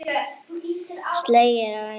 Sleginn er á einum degi.